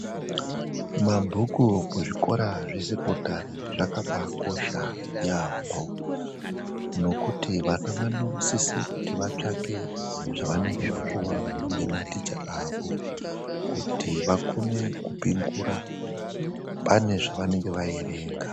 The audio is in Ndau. MABHUKU KUZVIKORA ZVE SEKONDARI ZVAKABA KOSHA YAMHO ,NEKUTI VANA VANOSISE KUTI VATSVAKE ZVAVANENGE VAPUWA NEMATICHA AVO KUTI VAKONE KUPINDURA PANE ZVAVANENGE VAWERENGA.